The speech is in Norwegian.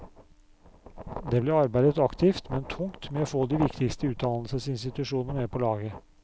Det ble arbeidet aktivt, men tungt, med å få de viktigste utdannelsesinstitusjonene med på laget.